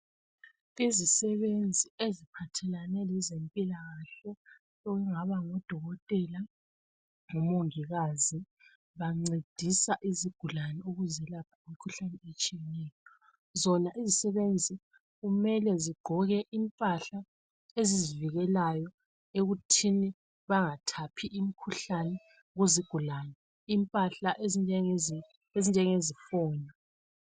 izisebenzi eziphathelane lezempilakhle okungaba ngu dokotela lomongikazi bancedisa izigulane ukuzelapha imikhuhlane etshiyeneyo zona izisebenzi kumele zigqoke impahla ezizivikelayo ekuthinibangathaphi imikhuhlane kuzigulane impahla ezifana lezifonyo